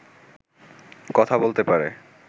কথা বলতে পারে